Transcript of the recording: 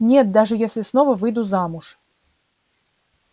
нет даже если снова выйду замуж